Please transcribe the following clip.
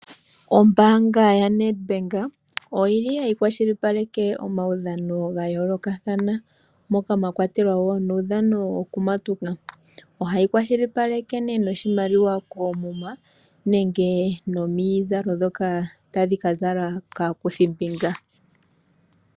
Ombaanga yoNedbank oyili hayi kwashilipaleke omaudhano gayoolokathana, moka mwa kwatelwa wo nuudhano wokumatuka. Ohayi kwashilipaleke nee noshimaliwa koomuma, nenge nomizalo ndhono tadhi ka zalwa kaakuthimbinga.